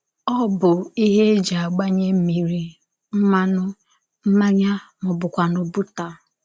Ọ bụ ihe e ji agbanye mmiri, mmanụ, mmanya, ma ọ bụkwanụ bọta.